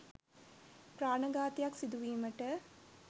ප්‍රාණඝාතයක් සිදුවීමට